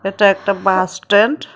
এটা একটা bus stand.